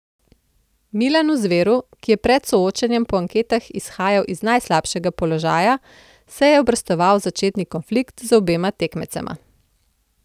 Milanu Zveru, ki je pred soočenjem po anketah izhajal iz najslabšega položaja, se je obrestoval začetni konflikt z obema tekmecema.